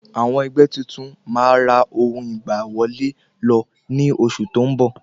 Àwọn ẹgbẹ́ tuntun ma ra ohun ìgbà wọlé lọ ní oṣù tó ń bọ̀